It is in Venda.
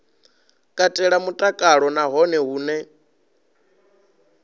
katela mutakalo na hone hune